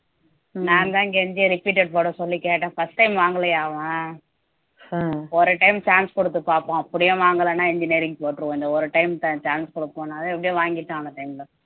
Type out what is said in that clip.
நான்தான் கெஞ்சி repeated போட சொல்லி கேட்டேன் first time வாங்கலையா அவன் ஒரு time chance கொடுத்து பார்ப்போம் அப்படியே வாங்கலைன்னா engineering போட்டிருவோம் இந்த ஒரு time chance கொடுப்போம் அதை எப்படியோ வாங்கிட்டேன் அந்த time ல